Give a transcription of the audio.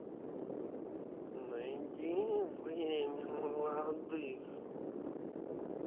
найди время молодых